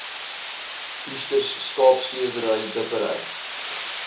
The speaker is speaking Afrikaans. oesters skaapskeerdery dippery